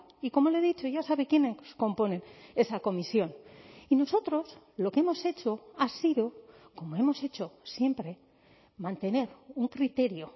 y como le he dicho ya sabe quiénes componen esa comisión y nosotros lo que hemos hecho ha sido como hemos hecho siempre mantener un criterio